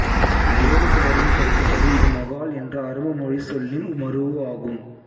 வேறு சிலரின் கருத்துப்படி இது மகால் என்ற அரபு மொழிச் சொல்லின் மரூஉ ஆகும்